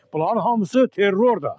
Buların hamısı terrordur.